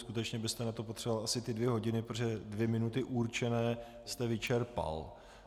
Skutečně byste na to potřeboval asi ty dvě hodiny, protože dvě minuty určené jste vyčerpal.